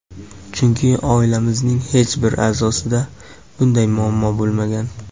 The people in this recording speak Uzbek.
Chunki oilamizning hech bir a’zosida bunday muammo bo‘lmagan.